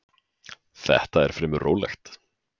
Þetta er fremur rólegt.